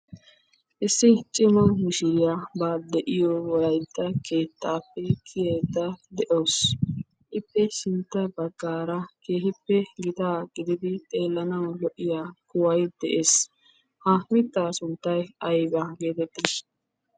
Issi cima mishiriya ba de'iyo wolaytta keettappe kiyaydda de'awus. Ippe sintta baggaara keehippe gitaa gididi xeelanaw lo"iya kuway de'ees. Ha mitta sunttay aybba getetti?